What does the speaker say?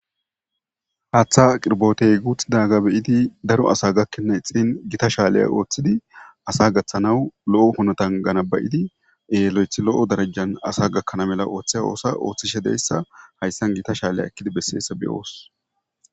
Haaththa qirbotey guuth daga beyidi daro asa gakkenna ixin gita shaaleya ooththidi asa gaththanaw lo'o hunotangana bayidie lo'ethi lo'o darajjan asa gakkana mela ooththe oosa ooththishe deyssa hayssan gita shaaleya ekkidi besseessa beyoos.